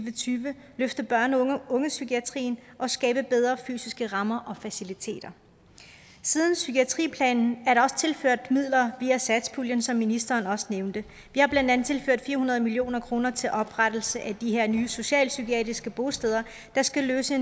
og tyve løfte børn og ungepsykiatrien og skabe bedre fysiske rammer og faciliteter siden psykiatriplanen er der også tilført midler via satspuljen som ministeren også nævnte vi har blandt andet tilført fire hundrede million kroner til oprettelse af de her nye socialpsykiatriske bosteder der skal løse